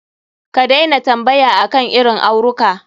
Ka daina tambaya akan irin auruka.